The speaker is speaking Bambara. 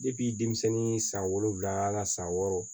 denmisɛnnin san wolonwula a la san wɔɔrɔ